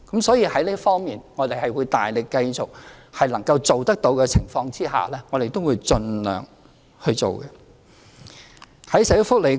所以，在這方面，在能夠做得到的情況下，我們也會大力繼續盡量去做。